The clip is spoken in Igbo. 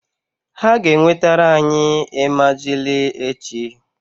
Ha ga-enwetara anyị emajili echi -